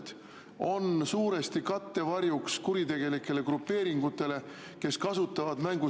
Üks Euroopa pikaajaline rahastusperiood lõpeb, just andsin valitsuskabinetis üle-eelmine nädal ülevaate sellest, kuidas me nende kasutuselevõttu kiirendame.